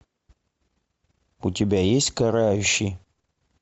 у тебя есть карающий